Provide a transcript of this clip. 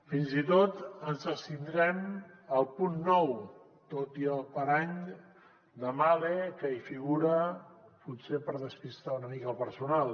fins i tot ens abstindrem al punt nou tot i el parany de mahle que hi figura potser per despistar una mica el personal